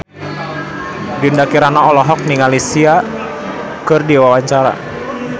Dinda Kirana olohok ningali Sia keur diwawancara